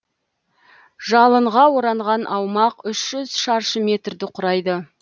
жалынға оранған аумақ үш жүз шаршы метрді құрайды